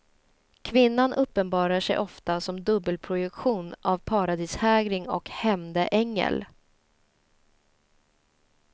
Kvinnan uppenbarar sig ofta som dubbelprojektion av paradishägring och hämndeängel.